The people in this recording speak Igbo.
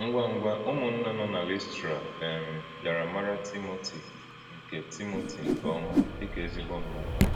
Ngwa-ngwa, ụmụ̀nna nọ na Lìstrà um bịara màrà Tímótì nke Tímótì nke ọma dị ka ezigbo mmádụ.